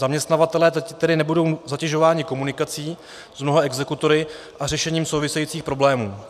Zaměstnavatelé tedy nebudou zatěžováni komunikací s mnoha exekutory a řešením souvisejících problémů.